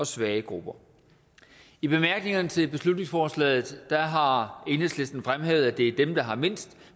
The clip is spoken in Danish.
svage grupper i bemærkningerne til beslutningsforslaget har enhedslisten fremhævet at det er dem der har mindst